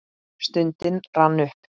Stundin rann upp.